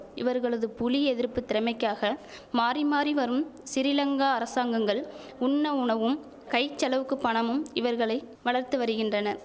இவர்களது புலி எதிர்ப்பு திறமைக்காக மாறி மாறி வரும் சிறிலங்கா அரசாங்கங்கள் உண்ண உணவும் கைச்செலவுக்குப் பணமும் இவர்களை வளர்த்து வருகின்றன